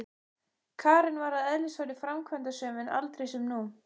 Hvenær borgaðir þú þig síðast inn á knattspyrnuleik?